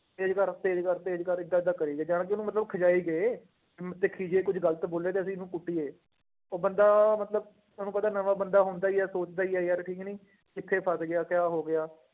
ਤੇਜ ਕਰ, ਤੇਜ ਕਰ, ਤੇਜ ਕਰ ਏਦਾਂ ਏਦਾਂ ਕਰੀ ਗਏ, ਜਾਣ ਕੇ ਉਹਨੂੰ ਮਤਲਬ ਖਿਝਾਈ ਗਏ ਅਮ ਦੇਖੀ ਜੇ ਇਹ ਕੁੱਝ ਗ਼ਲਤ ਬੋਲਿਆ ਤਾਂ ਅਸੀਂ ਇਹਨੂੰ ਕੁੱਟੀਏ, ਉਹ ਬੰਦਾ ਮਤਲਬ ਤੁਹਾਨੂੰ ਪਤਾ ਨਵਾਂ ਬੰਦਾ ਹੁੰਦਾ ਹੀ ਹੈ ਸੋਚਦਾ ਹੀ ਹੈ ਯਾਰ ਕਿ ਨਹੀਂ ਕਿੱਥੇ ਫਸ ਗਿਆ ਕਿਆ ਹੋ ਗਿਆ।